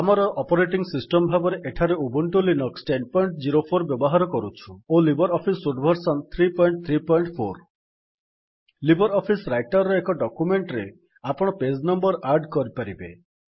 ଆମର operating system ଭାବରେ ଏଠାରେ ଉବୁଣ୍ଟୁ ଲିନକ୍ସ ୧୦୦୪ ବ୍ୟବହାର କରୁଛୁ ଓ Libre Office suite version ୩୩୪ Libre Office Writer ର ଏକ ଡକ୍ୟୁମେଣ୍ଟ୍ ରେ ଆପଣ ପେଜ୍ ନମ୍ବର୍ ଆଡ୍ କରିପାରିବେ